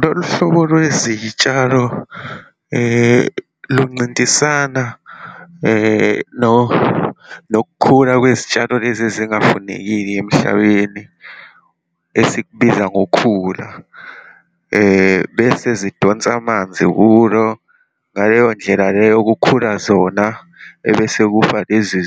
Lolu hlobo lwezitshalo loncintisana nokukhula kwezitshalo lezi ezingafanekile emhlabeni, esikubiza ngokhula. Bese zidonsa amanzi kulo, ngaleyo ndlela leyo kukhula zona, ebese kufa lezi